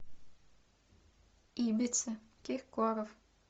ибица киркоров